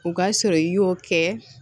O ka sɔrɔ i y'o kɛ